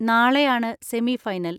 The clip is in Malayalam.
നാളെയാണ് സെമി ഫൈനൽ.